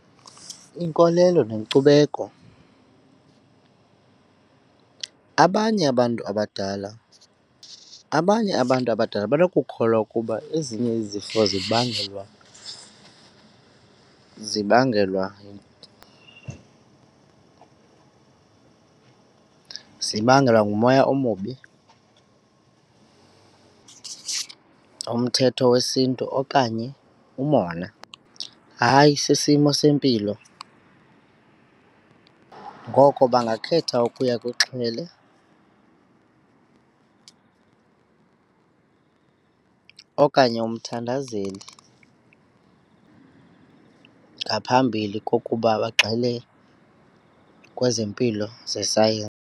Inkolelo nenkcubeko abanye abantu abadala abanye abantu abadala banokukhwela ukuba ezinye izifo zibangelwa zibangelwa zibangelwa ngumoya omubi, umthetho wesiNtu okanye umona. Hayi, sisimo sempilo ngoko bangakhetha ukuya kwixhwele okanye umthandazeli ngaphambili kokuba bagxile kwezempilo .